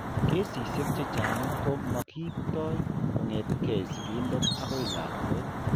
Kesishek chechang' ko mo kiipto kong'etke sigindet akoi lakwet?